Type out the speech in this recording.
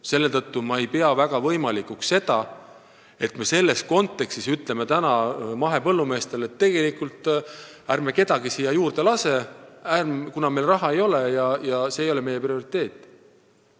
Selle tõttu ma ei pea väga võimalikuks seda, et me ütleme selles kontekstis mahepõllumeestele, et ärme kedagi juurde lase: meil ei ole raha ja see ei ole meie prioriteet.